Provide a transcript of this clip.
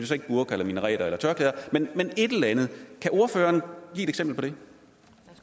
så ikke burkaer minareter eller tørklæder men et eller andet kan ordføreren give et eksempel